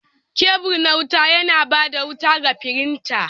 Kebul na wuta yana ba da wuta ga firinta.